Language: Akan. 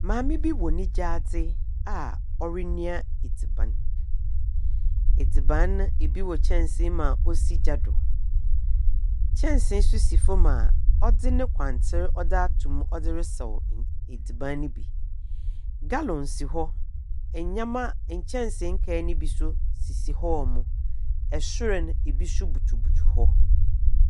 Maame bi wɔ ne gyaadze a ɔrenoa adziban. Adziban no ibi wɔ kyɛnsee mu a osi gya do. Kyensee nso si famu a ɔdze ne kwantser ɔdze atomu ɔdze resaw adziban no bi. Galɔn si hɔ, nnyɛma, nkyɛnsee nkae no bi so sisi hɔ. Ɛsoro no, ebi nso butubutu hɔ.